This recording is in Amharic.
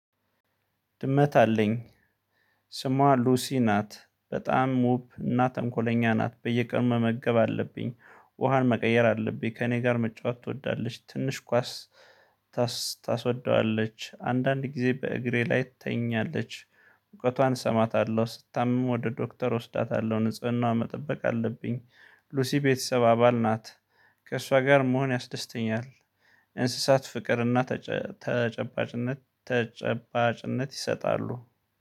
ድመት አለኝ። ስሟ ሉሲ ናት በጣም ውብ እና ተንኮለኛ ናት። በየቀኑ መመገብ አለብኝ ውሃን መቀየር አለብኝ ከእኔ ጋር መጫወት ትወዳለች ትንሽ ኳስ። ታስወደዋለች አንዳንድ ጊዜ በእግሬ ላይ ትተኛለች። ሙቀቷን እሰማታለሁ ስትታመም ወደ ዶክተር እወስዳታለሁ ንጽህናዋን መጠበቅ አለብኝ። ሉሲ ቤተሰብ አባል ናት። ከእሷ ጋር መሆን ያስደስተኛል። እንስሳት ፍቅር እና ተጨባጭነት ተጨባጭነት ይሰጣሉ